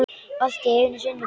Allt er einu sinni fyrst.